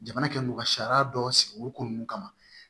Jamana kɛ mugu ka sariya dɔ sigi o ko ninnu kama